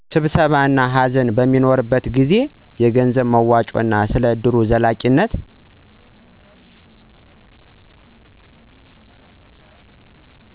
ስብሰባ እና ሃዘን በሚኖርበት ጊዜ። የገንዘብ መዋጮ እና ስለ እድሩ ዘላቂነት